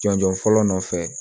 Jɔnjɔn fɔlɔ nɔfɛ